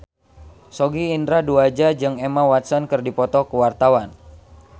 Sogi Indra Duaja jeung Emma Watson keur dipoto ku wartawan